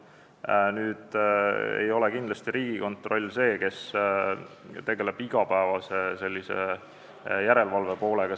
Aga Riigikontroll ei ole kindlasti see, kes tegeleb igapäevase järelevalvega.